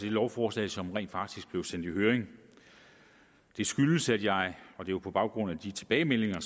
lovforslag som rent faktisk blev sendt i høring det skyldes at jeg på baggrund af de tilbagemeldinger